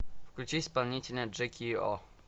включи исполнителя джеки о